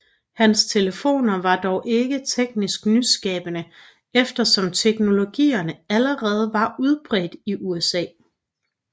Hans telefoner var dog ikke teknisk nyskabende eftersom teknologierne allerede var udbredt i USA